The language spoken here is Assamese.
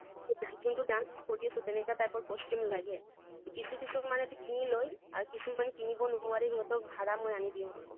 যোনটো dance কৰি আছো তেনেকা type ৰ costume লাগে কিছু কিছুমানেতো কিনি লয়, আৰু কিছু মান কিনিব নোৱাৰে ইহঁতক ভাড়া মই আনি দিওঁ।